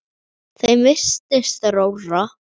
Þeim virtist rórra.